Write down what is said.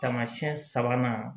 Taamasiyɛn sabanan